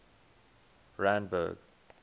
randburg